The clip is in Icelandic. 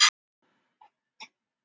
Jú, ég hef það.